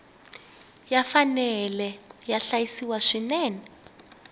ya fanele ya hlayisiwa swinene